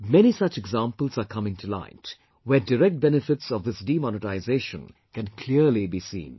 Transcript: Many such examples are coming to light where direct benefits of this demonetisation can clearly be seen